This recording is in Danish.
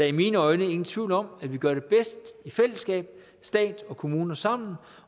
i mine øjne ingen tvivl om at vi gør det bedst i fællesskab stat og kommuner sammen